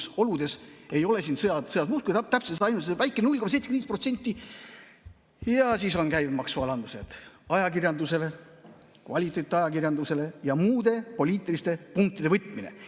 Sõjaoludes ei ole siin muud kui ainult see väike 0,75% ja siis on veel käibemaksualandused ajakirjandusele, kvaliteetajakirjandusele, ja muude poliitiliste punktide võtmine.